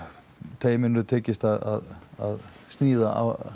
teyminu tekist að sníða